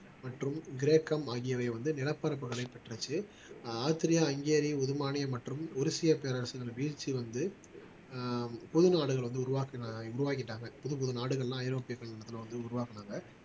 மற்றும் கிரேக்கம் ஆகியவை வந்து நிலப்பரப்புகளை பற்றுச்சு ஆஹ் ஆஸ்திரியா ஹங்கேரி உருமானியம் மற்றும் உருசிய பேரரசு வீழ்ச்சி வந்து அஹ் பொது நாடுகள் வந்து உருவாக்கிட்டாங்க புது புது நாடுகள் எல்லாம் ஐரோப்பியர்கள் இடத்திலே வந்து உருவாக்கினாங்க